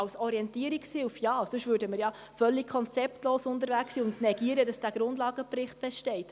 Als Orientierungshilfe ja, sonst wären wir ja völlig konzeptlos unterwegs und würden negieren, dass dieser Grundlagenbericht besteht.